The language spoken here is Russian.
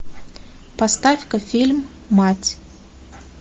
поставь ка фильм мать